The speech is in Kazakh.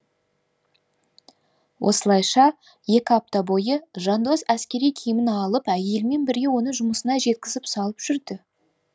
осылайша екі апта бойы жандос әскери киімін киіп алып әйелімен бірге оны жұмысына жеткізіп салып жүрді